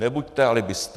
Nebuďte alibisté.